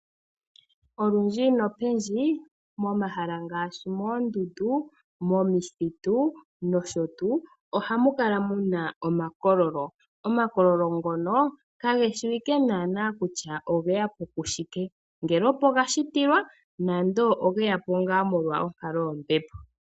Olundji nopendji momahala ngaashi moondundu, momithitu nosho tuu ohamu kala mu na omakololo. Omakololo ngono kage shiwike naanaa kutya ogeya po koshike ngele opo ga shitilwa nenge ogeya po molwa onkalo yombepo.